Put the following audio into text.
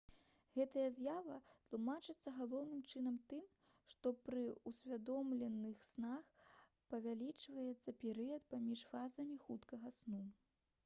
гэтая з'ява тлумачыцца галоўным чынам тым што пры ўсвядомленых снах павялічваецца перыяд паміж фазамі хуткага сну